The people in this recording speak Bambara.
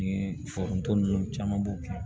Ni foronto ninnu caman b'o kɛ